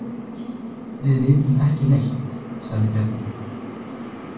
Við vitum ekki neitt, sagði Bjarni.